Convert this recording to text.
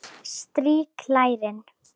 Strýk lærin.